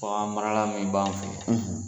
Bagan marala min b'an fe